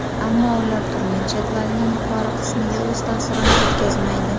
Ammo ular turnir jadvalining yuqori qismiga o‘z ta’sirini o‘tkazmaydi.